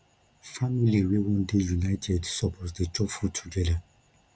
family wey wan dey united suppose dey chop food togeda